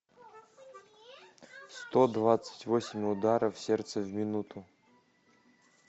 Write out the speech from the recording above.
сто двадцать восемь ударов сердца в минуту